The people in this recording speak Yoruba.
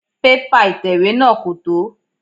Pépà ìtẹ̀wé náà kò tó.